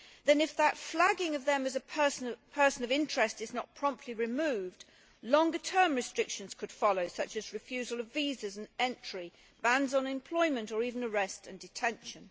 Then, if that flagging of them as a person of interest is not promptly removed, longer term restrictions could follow, such as refusal of visas and entry, bans on employment or even arrest and detention.